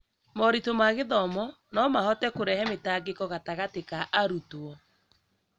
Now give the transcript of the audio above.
moritũ ma gĩthomo no mahote kũrehe mĩtangĩko gatagatĩ ka arutwo.